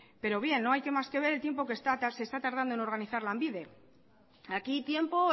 pero bien no hay más que ver el tiempo que está tardando de organizar lanbide aquí tiempo